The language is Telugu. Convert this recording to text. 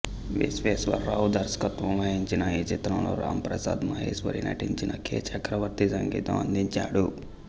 విశ్వేశ్వర రావు దర్శకత్వం వహించిన ఈ చిత్రంలో రాంప్రసాద్ మహేశ్వరి నటించగా కె చక్రవర్తి సంగీతం అందించారు